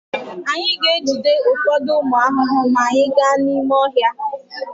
Anyị ga-ejide ụfọdụ ụmụ ahụhụ maa anyị gaa n'ime ọhịa.